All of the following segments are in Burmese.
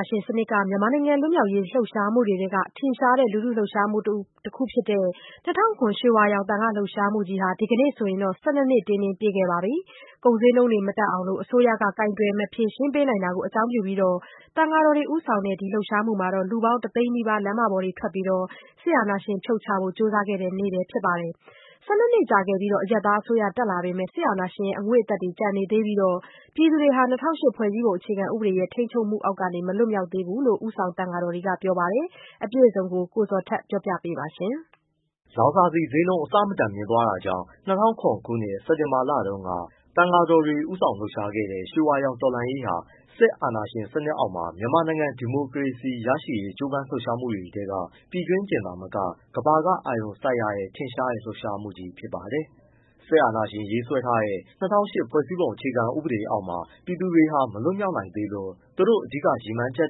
ာရှင်စနစ်က မြန်မာနိုင်ငံလွတ်မြောက်ရေး လှုပ်ရှားမှုတွေထဲက ထင်ရှားတဲ့ လူထုလှုပ်ရှားမှုတခုဖြစ်တဲ့ ၂၀၀၇ ရွှေဝါရောင်သံဃာ့လှုပ်ရှားမှုကြီးဟာ ဒီကနေ့ဆိုရင် ၁၂နှစ်တင်းတင်း ပြည့်ခဲ့ပြီဖြစ်ပါတယ်။ ကုန်ဈေးနှုန်းတွေမတက်အောင် အစိုးရက ကိုင်တွယ် ဖြေရှင်းမပေးနိုင်တာကို အကြောင်းပြုပြီး သံဃာတော်တွေဦးဆောင်တဲ့ ဒီလှုပ်ရှားမှုမှာ လူပေါင်း တသိန်းနီးပါး လမ်းပေါ်ထွက် စစ်အာဏာရှင်ဖြုတ်ချဖို့ ကြိုးစားခဲ့တဲ့နေ့လည်း ဖြစ်ပါတယ်။ ၁၂ကြာခဲ့ပြီး အရပ်သားအစိုးရ တက်လာပေမဲ့လည်း စစ်အာဏာရှင်ရဲ့ အငွေ့အသက်တွေ ကျန်နေသေးပြီး ပြည်သူတွေက ၂၀၀၈ ဖွဲ့စည်းပုံအခြေခံဥပဒေရဲ့ ထိန်းချုပ်မှုအောက်ကနေ မလွတ်မြောက် သေးဘူးလို့ ဒီလှုပ်ရှားမှုမှာ ဦးဆောင်ပါဝင်ခဲ့တဲ့ သံဃာတော်တွေက ပြောပါတယ်။ ဗွီအိုအေ မြန်မာပိုင်း သတင်းထောက် ကိုဇော်ထက် မေးမြန်းပေးပို့ ထားပါတယ်။ လောင်စာဆီဈေးနှုန်း အဆမတန်မြင့်တက်သွားမှုကြောင့် ၂၀၀၇ ခုနှစ် စက်တင်ဘာလတုန်းက သံဃာတော်တွေ ဦးဆောင်လှုပ်ရှားခဲ့တဲ့ ရွှေဝါရောင်တော်လှန်ရေးဟာ စစ်အာဏာရှင်စနစ်အောက်မှာ မြန်မာနိုင်ငံ ဒီမိုကရေစီရရှိရေး ကြိုးပမ်း လှုပ်ရှားမှုတွေထဲမှာ ပြည်တွင်းတင်သာမကဘဲ ကမ္ဘာက အာရုံစိုက်ရတဲ့ ထင်ရှားတဲ့ လှုပ်ရှားမှုကြီးဖြစ်ပါတယ်။ စစ်အာဏာရှင်ရေးဆွဲထားတဲ့ ၂၀၀၈ ဖွဲ့စည်းပုံ အခြေခံဥပဒေအောက်မှာ ပြည်သူတွေဟာ မလွတ်မြောက်နိုင်သေးလို့ သူတို့ အဓိက ရည်မှန်းချက်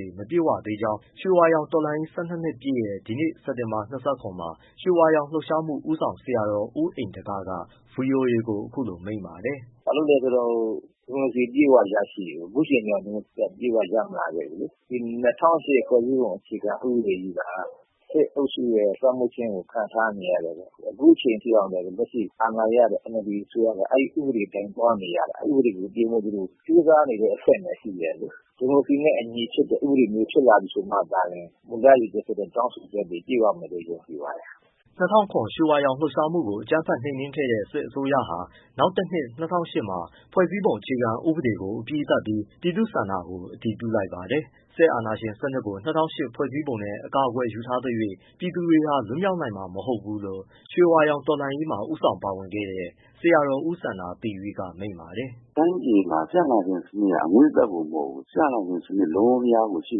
တွေ မပြည့်ဝသေးကြောင်း ရွှေဝါရောင်တော်လှန်ရေး ၁၂ နှစ်ပြည့်တဲ့ ဒီနေ့ စက်တင်ဘာ ၂၇မှာ ရွှေဝါရောင်လှုပ်ရှားမှု ဦးဆောင်ဆရာတော် ဦးဣန္ဒက က ဗွီအိုအေကို အခုလိုမိန့်ပါတယ်။ “ဘာဖြစ်လို့လဲဆိုတော့ ဒီမိုကရေစီ အပြည့်အဝရရှိရေးကို အခုအချိန်အထိ အပြည့်အဝ မရလာသေးဘူးလေ။ ၂၀၀၈ ဖွဲ့စည်းပုံအခြေခံ ဥပဒေကြီးက စစ်အုပ်ရဲ့ လွှမ်းမိုးခြင်းကို ခံထားနေရတယ်ဆိုတော့ အခုအချိန်အထိ လက်ရှိအာဏာရ NLD အစိုးရက အဲဒီဥပဒေကြီးအတိုင်းသွားနေရတာ။ အဲဒီ ဥပဒေကို ပြင်ဖို့ကြိုးစားနေတဲ့ အဆင့်ပဲရှိသေးတယ်။ ဒီမိုကရေစီနဲ့အညီဖြစ်တဲ့ ဥပဒေမျိုးဖြစ်လာမှသာလျှင် မူရရည်ရွယ်ချက် တောင်းဆိုချက်တွေ ပြည့်ဝမယ်လို့ ယုံကြည်ပါတယ်။” ၂၀၀၇ ရွှေဝါရောင်လှုပ်ရှားမှုကို အကြမ်းဖက်နှိမ်နင်းခဲ့တဲ့ စစ်အစိုးရဟာ နောက်တနှစ် ၂၀၀၈ ခုနှစ်မှာ ဖွဲ့စည်းပုံအခြေခံဥပဒေကို အပြီးသတ်ပြီး ပြည်သူ့ဆန္ဒခံယူ အတည်ပြုလိုက်ပါတယ်။ စစ်အာဏာရှင်စနစ်ကို ၂၀၀၈ ဖွဲ့စည်းပုံနဲ့ အကာအကွယ်ယူထားသရွှေ့ ပြည်သူတွေက လွတ်မြောက်နိုင်မှာ မဟုတ်ဘူးလို့ ရွှေဝါရောင်တော်လှန်းရေးမှာ ဦးဆောင်ပါဝင်ခဲ့တဲ့ ဆရာတော် ဦးစန္ဒာသီရိ က မိန့်ပါတယ်။ “တိုင်းပြည်မှာ စစ်အာဏာရှင်စနစ်ရဲ့ အငွေ့အသက်တင်မဟုတ်ဘူး စစ်အာဏာရှင်စနစ် လုံးလုံးလျားလျားကို ရှိ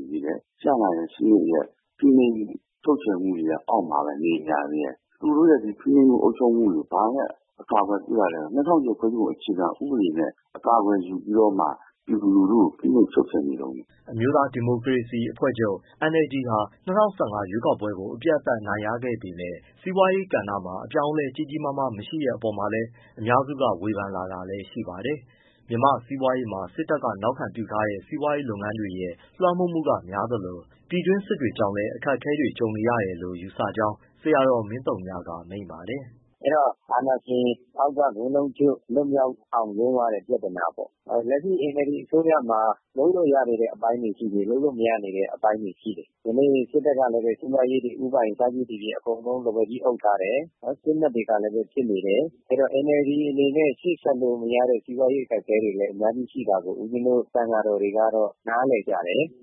နေသေးတယ်။ စစ်အာဏာရှင်စနစ်ရဲ့ ဖိနှိပ်မှု ချုပ်ခြယ်မှု အောက်မှာပဲ နေနေရသေးတယ်။ သူတို့ရဲ့ ဖိနှိပ်မှုတွေကို ဘာနဲ့ အကာကွယ်ပြုထားလဲဆိုတော့ ၂၀၀၈ အခြေခံဥပဒေနဲ့ အကာအကွယ်ယူပြီး တော့မှ ပြည်သူလူထုကို ဖိနှိပ်ချုပ်ခြယ်နေတုန်းပဲ။” အမျိုးသား ဒီမိုကရေစီအဖွဲ့ချုပ် NLD ဟာ ၂၀၁၅ ရွေးကောက်ပွဲကို အပြတ်အသတ် အနိုင်ရခဲ့ပေမဲ့ စီးပွားရေးကဏ္ဍမှာ အပြောင်းအလဲ ကြီးကြီးမာမား မရှိတဲ့အပေါ်မှာလည်း အများစုက ဝေဖန်လာတာလည်းရှိပါတယ်။ မြန်မာ့စီးပွားရေးမှာ စစ်တပ်နောက်ခံပြုထားတဲ့ စီးပွားရေးလုပ်ငန်းကြီးတွေရဲ့ လွှမ်းမိုးမှုက များသလို၊ ပြည်တွင်းစစ် တွေကြောင့်လည်း အခက်အခဲတွေကြုံနေတယ်လို့ ယူဆကြောင်း ဆရာတော် မင်းသုညကလည်း မိန့်ပါတယ်။ “အဲဒီတော့အာဏာရှင် စနစ်အောက်ကနေ လွှတ်အောင်ရုန်းရတဲ့ ပြဿနာပေါ့။ လက်ရှိ NLD အစိုးရမှာ လုပ်လို့ရတဲ့အပိုင်းတွေရှိတယ်၊ မရတဲ့အပိုင်းတွေ ရှိတယ်။ ဒီနေ့ စစ်တပ်ကလည်း စီးပွားရေးတွေ ဦးပိုင် အစရှိသည်ဖြင့် အကုန်လုံး လက်ဝါးကြီးအုပ်ထားတယ်။ စစ်မက်တွေကလည်း ဖြစ်နေတယ်။ အဲဒီတော့ NLD အနေနဲ့ ရှေ့ဆက်လို့မရတဲ့ စီးပွားရေးအခက်အခဲတွေလည်း အများကြီးရှိတာကို ဦးပဉ္ဖင်းတို့ သံဃာတော်တွေကတော့ နားလည်ကြတယ်။”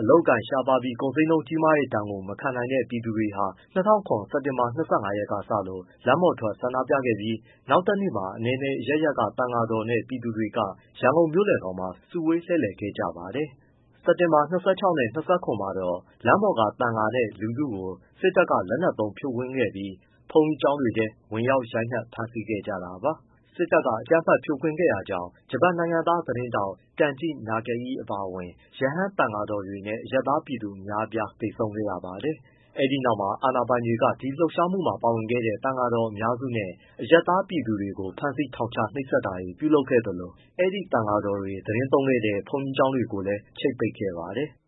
အလုပ်အကိုင်ရှားပါးပြီး ကုန်ဈေးနှုန်းကြီးတဲ့ဒဏ်ကို မခံနိုင်တော့တဲ့ ပြည်သူတွေဟာ ၂၀၀၇ ခုနှစ်၊ စက်တင်ဘာ ၂၅ရက်ကစလို့ လမ်းပေါ်ထွက် ဆန္ဒပြခဲ့ကြပြီး နောက်တနေ့မှာ အနယ်နယ်အရပ်ရပ်က သံဃာတော်တွေနဲ့ ပြည်သူတွေ ရန်ကုန်မြို့လယ်ခေါင်မှာ စုဝေးလှည့်လည်ခဲ့ကြပါတယ်။ စက်တင်ဘာ ၂၆၊ ၂၇ မှာတော့ လမ်းပေါ်က သံဃာနဲ့ လူထုကို စစ်တပ်က လက်နက်သုံးဖြိုခွင်းခဲ့ပြီး ဘုန်းကြီးကျောင်းတွေထဲ ဝင်ရောက် ရိုက်နှက် ဖမ်းဆီးခဲ့ကြတာပါ။ စစ်တပ်က အကြမ်းဖက်ဖြိုးခွင်းခဲ့တာကြောင့် ဂျပန်နိုင်ငံသား သတင်းထောက် ကန်ဂျိ နာဂအိ အပါအဝင် ရဟန်း၊ သံဃာတော်တွေနဲ့ အရပ်သားပြည်သူ အများအပြား သေဆုံးခဲ့ရပါတယ်။ အဲဒီနောက်မှာ အာဏာပိုင်တွေက ဒီလှုပ်ရှားမှုမှာ ပါဝင်ခဲ့တဲ့ သံဃာတော် အများစုနဲ့ အရပ်သား ပြည်သူတွေကို ဖမ်းဆီး ထောင်ချ၊ နှိပ်စက်တာတွေ ပြုလုပ်ခဲ့သလို အဲဒီ သံဃာတော်တွေ သတင်းသုံးခဲ့တဲ့ ဘုန်းတော်ကြီးကျောင်း တွေကိုလည်း ချိတ်ပိတ်ခဲ့ပါတယ်။